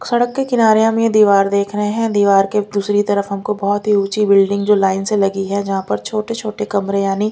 सड़क के किनारे हम ये दीवार देख रहे हैं दीवार के दूसरी तरफ हमको बहुत ही ऊंची बिल्डिंग जो लाइन से लगी है जहां पर छोटे-छोटे कमरे यानी--